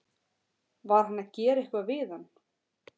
Var hann að gera eitthvað við hann?